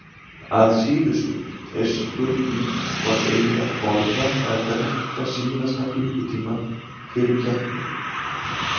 Að síðustu er spurning hvort eigi að borða eða drekka síðasta klukkutímann fyrir keppni.